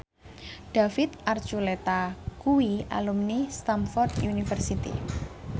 David Archuletta kuwi alumni Stamford University